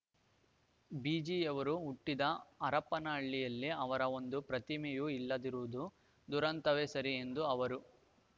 ಬೀಚಿಯವರು ಹುಟ್ಟಿದ ಹರಪನಹಳ್ಳಿಯಲ್ಲಿ ಅವರ ಒಂದು ಪ್ರತಿಮೆಯೂ ಇಲ್ಲದಿರುವುದು ದುರಂತವೇ ಸರಿ ಎಂದು ಅವರು